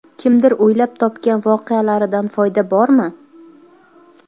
Kimdir o‘ylab topgan voqealaridan foyda bormi?.